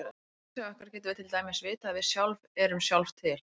Af innsæi okkar getum við til dæmis vitað að við sjálf erum sjálf til.